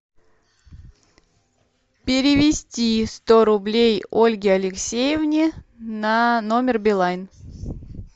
перевести сто рублей ольге алексеевне на номер билайн